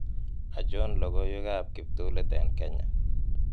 achon logoiwekab kiptulit en kenya